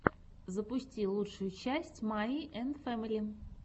запусти лучшую часть майи энд фэмили